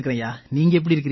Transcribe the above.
நீங்க எப்படி இருக்கீங்க